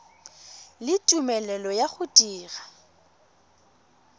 le tumelelo ya go dira